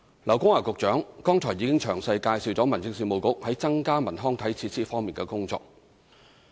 劉江華局長剛才已經詳細介紹民政事務局在增加文康體設施方面的工作。